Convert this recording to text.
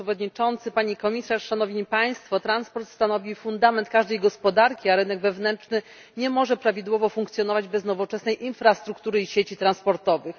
Panie Przewodniczący, Pani Komisarz, Szanowni Państwo! Transport stanowi fundament każdej gospodarki, a rynek wewnętrzny nie może prawidłowo funkcjonować bez nowoczesnej infrastruktury i sieci transportowych.